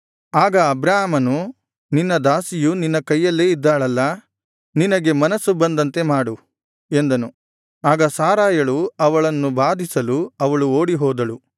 ಆಗ ಅಬ್ರಾಮನು ನಿನ್ನ ದಾಸಿಯು ನಿನ್ನ ಕೈಯಲ್ಲೇ ಇದ್ದಾಳಲ್ಲಾ ನಿನ್ನಗೆ ಮನಸ್ಸು ಬಂದಂತೆ ಮಾಡು ಎಂದನು ಆಗ ಸಾರಯಳು ಅವಳನ್ನು ಬಾಧಿಸಲು ಅವಳು ಓಡಿಹೋದಳು